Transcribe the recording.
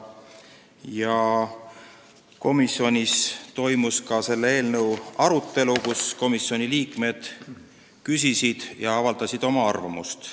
Ka komisjonis toimus selle eelnõu arutelu, kus komisjoni liikmed küsisid ja avaldasid oma arvamust.